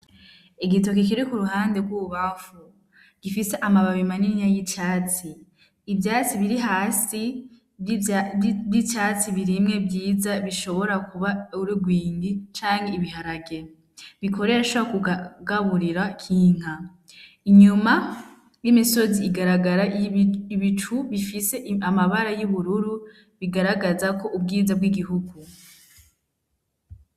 Igitoke kiri ku ruhande rw’ububamfu gifise amababi manini y’icatsi. Ivyatsi biri hasi vy’icatsi birimye vyiza, bishobora kuba ururwingi canke ibiharage bikoreshwa mu kugaburira k’inka. Inyuma y’imisozi, igaragara ibicu bifise amabara y’ubururu, bigaragaza ubwiza bw’igihugu.